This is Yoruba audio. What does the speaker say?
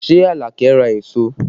Ṣé Alake ra èso?